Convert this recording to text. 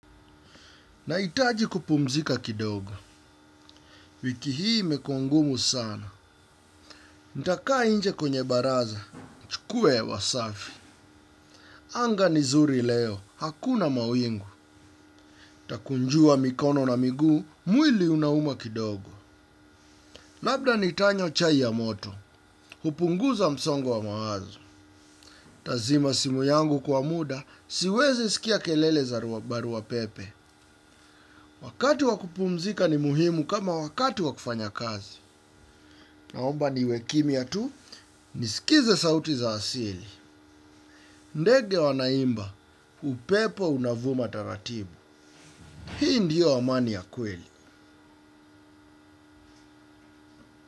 Nahitaji kupumzika kidogo. Wiki hii imekuwa ngumu sana. Nitakaa nje kwenye baraza. Kuwe hewa safi. Anga ni zuri leo. Hakuna mawingu. Takunjua mikono na miguu. Mwili unauma kidogo. Labda nitanywa chai ya moto. Hupunguza msongo wa mawazo. Tazima simu yangu kwa muda. Siwezi sikia kelele za barua pepe. Wakati wa kupumzika ni muhimu kama wakati wa kufanya kazi. Naomba niwe kimya tu. Nisikize sauti za asili. Ndege wanaimba, upepo unavuma taratibu. Hii ndiyo amani ya kweli.